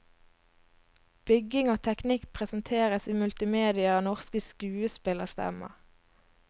Bygging og teknikk presenteres i multimedia av norske skuespillerstemmer.